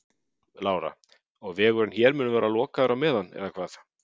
Lára: Og vegurinn hér mun vera lokaður á meðan eða hvað?